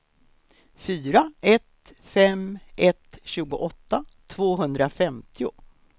fyra ett fem ett tjugoåtta tvåhundrafemtio